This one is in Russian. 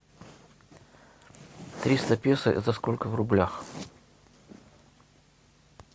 триста песо это сколько в рублях